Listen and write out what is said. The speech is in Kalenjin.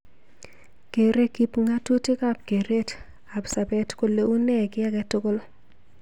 Kerei kipngamutik ab keret ab sabet kole unee ki age tugul.